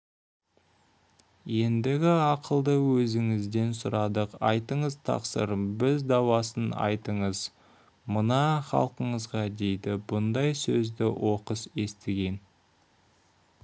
ендігі ақылды өзіңізден сұрадық айтыңыз тақсыр бір дауасын айтыңыз мына халқыңызға дейді бұндай сөзді оқыс естіген